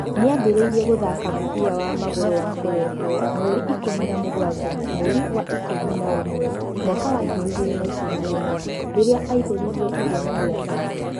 Nĩambĩrĩirie gũthaaka mũbira wa magũrũ wa kũrehuo mweri wa ikũmi na mũgwanja mweri wa ikũmi na ũmwe mwaka wa ngiri igĩrĩ na ikũmi na inya rĩrĩa aaĩhuririe ithenya rĩa Thano